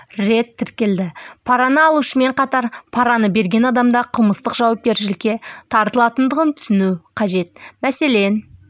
рет тіркелді параны алушымен қатар параны берген адам да қылмыстық жауапкершілікке тартылатындығын түсіну қажет мәселен